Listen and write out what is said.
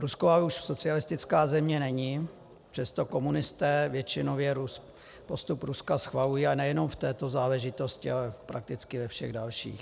Rusko ale už socialistická země není, přesto komunisté většinově postup Ruska schvalují a nejenom v této záležitosti, ale prakticky ve všech dalších.